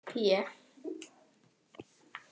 P